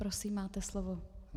Prosím, máte slovo.